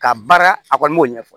Ka baara a kɔni b'o ɲɛfɔ